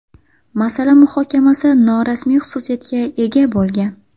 Masala muhokamasi norasmiy xususiyatga ega bo‘lgan.